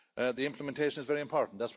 The implementation is very important.